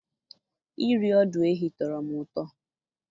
Iri ọdụ ehi tọrọ m ụtọ.